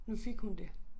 Nu fik hun det